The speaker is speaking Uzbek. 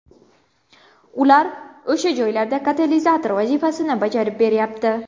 Ular o‘sha joyda katalizator vazifasini bajarib beryapti.